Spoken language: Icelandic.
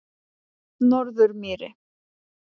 Norðurmýri